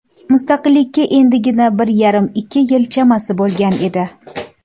Mustaqilikka endigina bir yarim-ikki yil chamasi bo‘lgan edi.